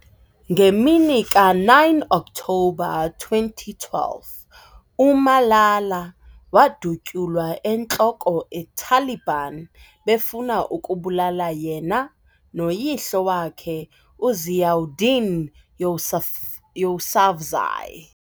Ngemini ka 9 October 2012, uMalala wadutyulwa entloko eTaliban befuna ukubulala yena no yihlo wakhe uZiauddin Yousaf Yousafzai.